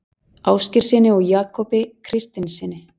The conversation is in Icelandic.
Ásgeirssyni og Jakobi Kristinssyni.